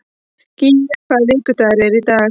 Gía, hvaða vikudagur er í dag?